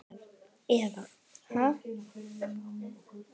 Eva: Ha?